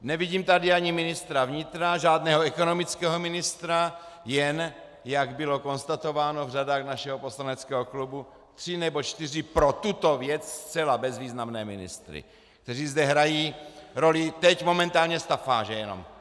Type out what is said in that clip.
Nevidím tady ani ministra vnitra, žádného ekonomického ministra, jen, jak bylo konstatováno v řadách našeho poslaneckého klubu, tři nebo čtyři pro tuto věc zcela bezvýznamné ministry, kteří zde hrají roli teď momentálně stafáže jenom.